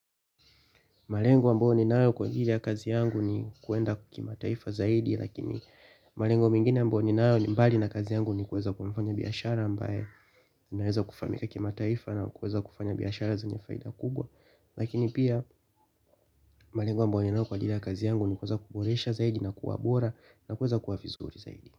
Malengo ambayo ninayo kwa ajili ya kazi yangu ni kuenda kimataifa zaidi lakini malengo mengine ambayo ninayo ni mbali na kazi yangu ni kueza kuwa mfanyabiashara ambaye naweza kufahamika kimataifa na kuweza kufanya biashara zenye faida kubwa. Lakini pia malengo ambao ninao kwa ajili ya kazi yangu ni kuweza kuboresha zaidi na kuwa bora na kuweza kuwa vizuri zaidi.